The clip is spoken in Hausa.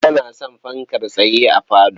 Ni ba na son fankar tsaye a falo.